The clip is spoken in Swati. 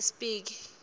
espiki